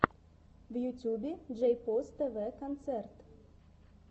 в ютубе джейпос тв концерт